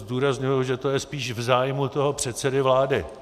Zdůrazňuji, že to je spíš v zájmu toho předsedy vlády.